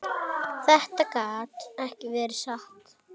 Þetta gat ekki verið satt.